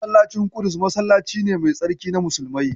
Masallacin ƙudus masallaci ne mai tsarki na musulmai.